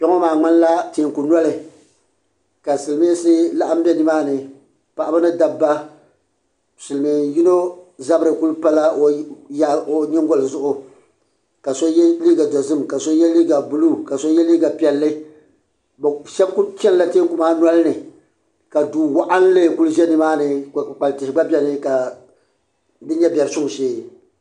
Kpe ŋɔ maa ŋmani la tɛɛku noli ka Silmiinsi laɣim bɛ di maa ni paɣaba ni dabba silmiin yino zabiri ku pala o nyingoli zuɣu ka so yɛ liiga dozim ka so yɛ liiga buluu ka so yɛ liiga piɛlli shɛba ku chani la tɛɛku maa noli ni ka duu waɣinli ku ʒɛ ni maa ni ka kpukpali tihi gba bɛni ka di nyɛ biɛri suŋ shee.